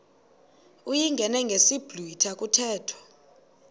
uyingene ngesiblwitha kuthethwa